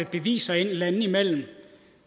beviser landene imellem et